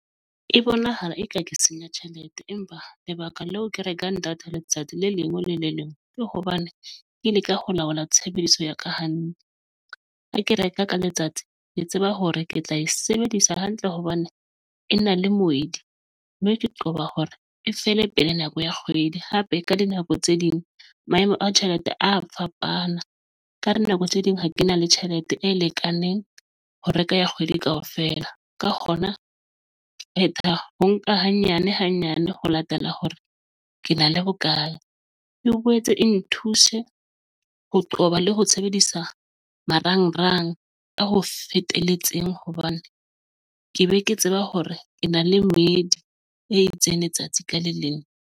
E bonahala eka ke senya tjhelete, empa lebaka leo ke rekang data letsatsi le leng le le leng ke hobane ke leka ho laola tshebediso ya ka . Ha ke reka ka letsatsi ke tseba hore ke tla e sebedisa hantle hobane e na le moedi mme ke qoba hore e fele pele nako ya kgwedi. Hape ka dinako tse ding maemo a tjhelete a fapana ka dinako tse ding ha ke na le tjhelete e lekaneng ho reka ya kgwedi kaofela ka hona ho nka hanyane hanyane ho latela hore ke na le bokae. E boetse e nthuse ho qoba le ho sebedisa marangrang ka ho feteletseng hobane ke be ke tseba hore ke na le medi e itseng letsatsi ka leng.